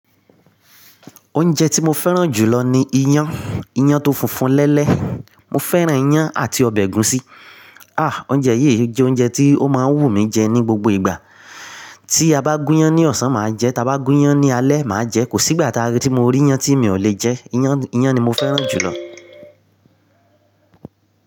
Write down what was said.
Oúnjẹ tí mo fẹ́ràn jùlọ ni iyán. Iyán tó funfun lẹ́lẹ́. Mo fẹ́ràn iyán àti ọbẹ̀ ẹ̀gúsí. Ah! Oúnjẹ yìí jẹ́ oúnjẹ tí ó máa ń wù mí jẹ ní gbogbo ìgbà. Tí a bá gún iyán ní ọ̀sán, màá jẹ. Tí a bá gún iyán ní alẹ́, màá jẹ ẹ́. Kò sí ìgbà táa rí tí mo rí iyán tí mi ò lè jẹ ẹ́. Iyán ni mo fẹ́ràn jùlọ.